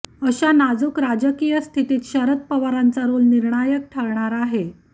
अशा नाजूक राजकीय स्थितीत शरद पवारांचा रोल निर्णायक ठरणार आहे